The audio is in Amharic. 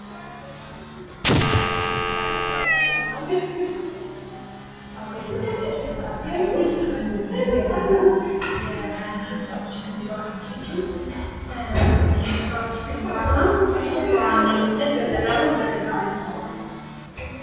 ከመሰረተ ልማት አገልግሎቶች መካከል ውስጥ አንዱ የሆነው የህንፃዎች ግንባታ ሲሆን የህንፃዎች ግንባታ በዋነኝነት በገጠርም በከተማም የሚስፋፋው